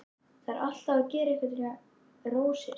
Þarf alltaf að gera einhverjar rósir.